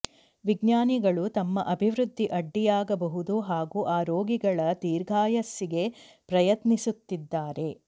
ವಿಜ್ಞಾನಿಗಳು ತಮ್ಮ ಅಭಿವೃದ್ಧಿ ಅಡ್ಡಿಯಾಗಬಹುದು ಹಾಗೂ ಆ ರೋಗಿಗಳ ದೀರ್ಘಾಯಸ್ಸಿಗೆ ಪ್ರಯತ್ನಿಸುತ್ತಿದ್ದಾರೆ